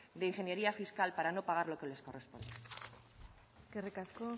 de ingeniería fiscal para no pagar lo que les corresponde eskerrik asko